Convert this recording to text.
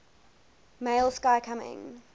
male sky coming